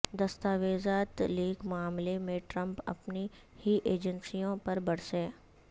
دستاویزات لیک معاملے میں ٹرمپ اپنی ہی ایجنسیوں پر برسے